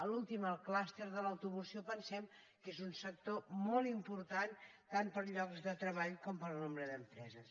l’últim el cluster de l’automoció pensem que és un sector molt important tant per llocs de treball com per nombre d’empreses